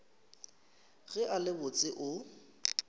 ge a le botse o